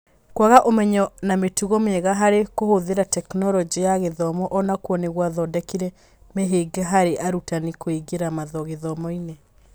Kwaga ũmenyo na mĩtugo mĩega harĩ kũhũthĩra Tekinoronjĩ ya Gĩthomo o nakuo nĩ gwathondekire mĩhĩnga harĩ arutani kũingĩra gĩthomo-inĩ.